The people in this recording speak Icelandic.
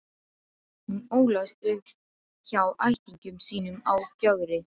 Hún ólst upp hjá ættingjum sínum á Gjögri.